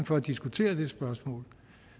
for at diskutere det spørgsmål